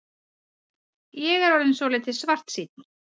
Ég er orðinn svolítið svartsýnn.